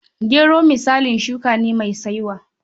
Gero misalin shuka ne mai saiwa.